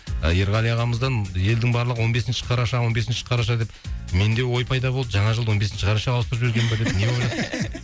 ы ерғали ағамыздан елдің барлығы он бесінші қараша он бесінші қараша деп менде ой пайда болды жаңа жылды он бесінші қарашаға ауыстырып жіберген ба деп не ойлап